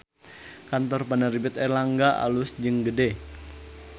Kantor Penerbit Erlangga alus jeung gede